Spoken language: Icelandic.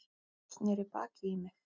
Sneri baki í mig.